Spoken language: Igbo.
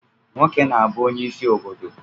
Nwoke na-abu onye isi obodo